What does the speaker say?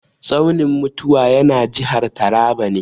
Tsaunin mutuwa yana jihar Taraba ne.